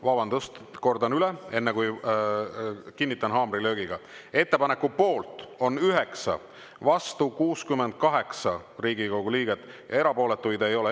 Vabandust, kordan üle, enne kui kinnitan haamrilöögiga: ettepaneku poolt on 9, vastu 68 Riigikogu liiget, erapooletuid ei ole.